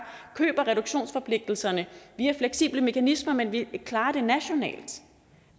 køber reduktionsforpligtelserne via fleksible mekanismer men at vi klarer det nationalt